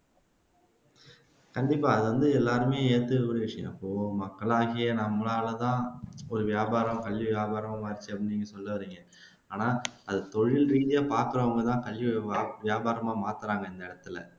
கண்டிப்பா அது வந்து எல்லாருமே ஏத்துக்க கூடிய விஷயம் மக்களாகிய நம்மளாலதான் ஒரு வியாபாரம் கல்வி வியாபாரமாச்சு அப்படின்னு நீங்க சொல்ல வர்றீங்க ஆனா அது தொழில்ரீதியா பாக்குறவங்கதான் கல்வி வியாபாரமா மாத்துனாங்க இந்நேரத்துல